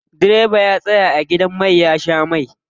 Direba ya tsaya a gidan mai ya sha mai.